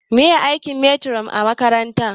Meye aikin metiron a makaranta?